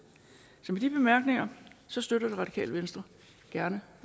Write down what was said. så med de bemærkninger støtter radikale venstre gerne